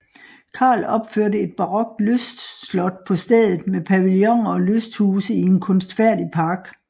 Carl opførte et barokt lystslot på stedet med pavillioner og lysthuse i en kunstfærdig park